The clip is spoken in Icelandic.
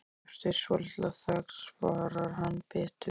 Eftir svolitla þögn svarar hann biturt